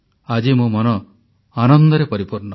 ଆଜି ମୋ ମନ ଆନନ୍ଦରେ ପରିପୂର୍ଣ୍ଣ